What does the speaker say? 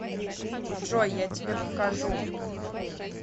джой я тебе покажу